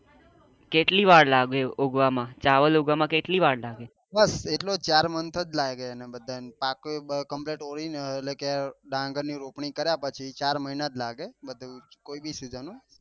કેટલી વાર લાગે ઉગવા માં ઉગવા માં ચાવલ ઉગવા માં કેટલી વાર લાગે